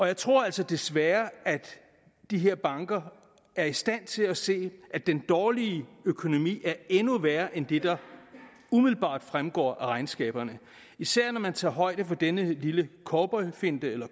jeg tror altså desværre at de her banker er i stand til at se at den dårlige økonomi er endnu værre end det der umiddelbart fremgår af regnskaberne især når man tager højde for denne lille cowboyfinte eller